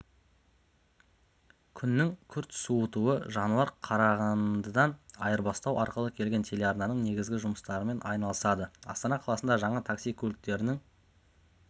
күннің күрт суытуы жануар қарағандыдан айырбастау арқылы келген телеарнаның негізгі жұмыстарымен айналысады астана қаласында жаңа такси-көліктерінің